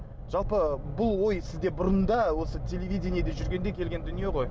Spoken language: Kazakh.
жалпы бұл ой сізде бұрында осы телевидениеде жүргенде келген дүние ғой